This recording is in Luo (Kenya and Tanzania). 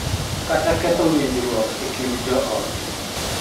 Kata ketho winjruok e kind joot